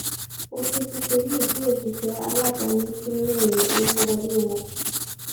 òfin tuntun yí bí òṣìṣẹ aládàáni ṣe ń royìn owó wọlé wọn